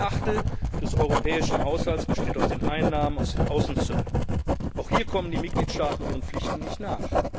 an. Ein Achtel des europäischen Haushalts besteht aus den Einnahmen aus den Außenzöllen. Auch hier kommen die Mitgliedstaaten ihren Pflichten nicht nach.